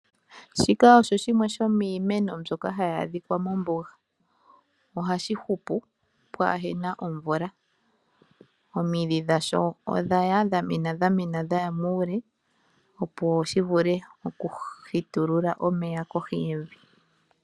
Shika osho shimwe shomiimeno mbyoka hayi adhika mombuga. Ohashi hupu pwaahena omvula, omidhi dhasho odha mena dhaya muule, opo shi vule okuhitulula omeya kohi yevi.